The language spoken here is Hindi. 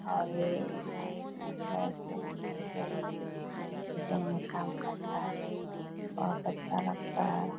और ये गैस है पेट्रोल गैस सीजन में काम करता है बहोत अच्छा लगता है ।